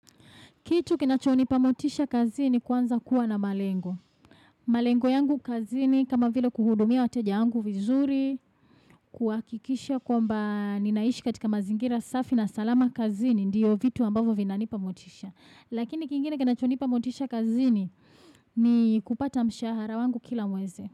Kitu kinachonipa motisha kazini kwanza kuwa na malengo. Malengo yangu kazini kama vile kuhudumia wateja wangu vizuri, kuhakikisha kwamba ninaishi katika mazingira safi na salama kazini ndiyo vitu ambavyo vinanipa motisha. Lakini kingine kinachonipa motisha kazini ni kupata mshahara wangu kila mwezi.